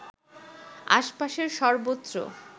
আশপাশের সর্বত্র